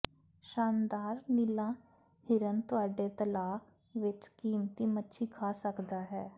ਸ਼ਾਨਦਾਰ ਨੀਲਾ ਹਿਰਨ ਤੁਹਾਡੇ ਤਲਾਅ ਵਿਚ ਕੀਮਤੀ ਮੱਛੀ ਖਾ ਸਕਦਾ ਹੈ